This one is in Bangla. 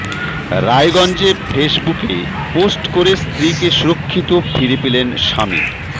রায়গঞ্জে ফেসবুকে পোস্ট করে স্ত্রীকে সুরক্ষিত ফিরে পেলেন স্বামী